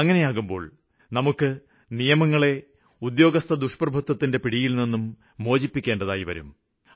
അങ്ങിനെയാകുമ്പോള് നമുക്ക് നിയമങ്ങളെ ഉദ്യാഗസ്ഥദുഷ്പ്രഭുത്വത്തിന്റെ പിടിയില്നിന്നും മോചിപ്പിക്കേണ്ടതായി വരും